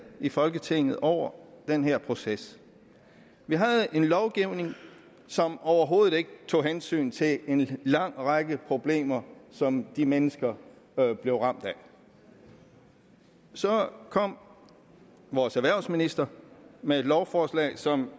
i folketinget over den her proces vi havde en lovgivning som overhovedet ikke tog hensyn til en lang række problemer som de mennesker blev ramt af så kom vores erhvervsminister med et lovforslag som